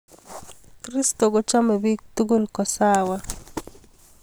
Kristo kochomech biik tukul kosawa